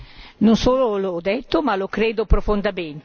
Non solo l'ho detto, ma lo credo profondamente.